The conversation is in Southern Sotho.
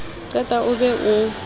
o qeta o be o